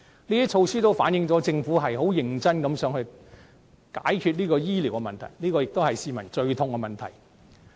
以上措施反映出政府想認真解決市民最痛的醫療問題。